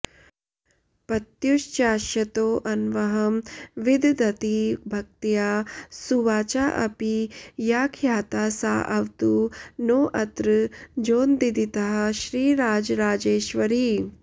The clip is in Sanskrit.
पत्युश्चाशयतोऽन्वहं विदधती भक्त्या सुवाचाऽपि या ख्याता साऽवतु नोऽत्र जोनदिदितः श्रीराजराजेश्वरी